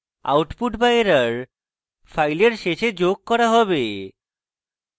output be error file শেষে যোগ করা হবে